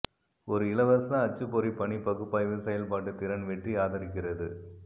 ஒரு இலவச அச்சுப்பொறி பணி பகுப்பாய்வு செயல்பாட்டு திறன் வெற்றி ஆதரிக்கிறது